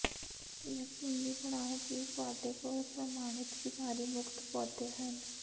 ਯਕੀਨੀ ਬਣਾਓ ਕਿ ਤੁਹਾਡੇ ਕੋਲ ਪ੍ਰਮਾਣਿਤ ਬਿਮਾਰੀ ਮੁਕਤ ਪੌਦੇ ਹਨ